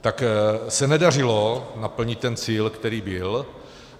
Tak se nedařilo naplnit ten cíl, který byl.